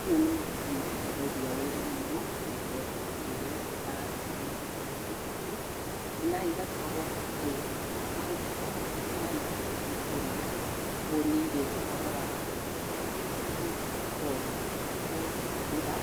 ĩno nĩ macini ĩhũthagia wĩra mũno, nĩ tondũ rĩrĩa ndĩrahe ng'ombe ciakwa mahuti, na igakorwo atĩ mahuti mau ti maingĩ ikũrĩa, koguo nĩ irĩ ũhoro wa ikoni, rĩa kũhũthĩra